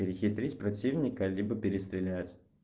перехитрить противника либо перестрелять